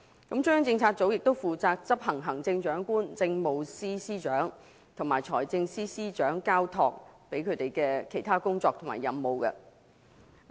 中央政策組亦負責執行行政長官、政務司司長和財政司司長交託的其他工作及任務。